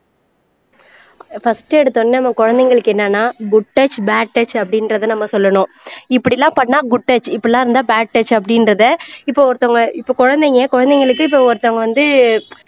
first எடுத்தவுடனே நம்ம குழந்தைங்களுக்கு என்னன்னா குட் டச் பேட் டச் அப்படின்றதை நம்ம சொல்லணும் இப்படி எல்லாம் பண்ணா குட் டச் இப்படி எல்லாம் இருந்தா பேட் டச் அப்படின்றதை இப்போ ஒருத்தவங்க இப்போ குழந்தைங்க குழந்தைங்களுக்கு இப்போ ஒருத்தவங்க வந்து